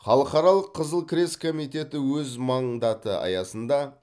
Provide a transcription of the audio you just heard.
халықаралық қызыл крест комитеті өз мандаты аясында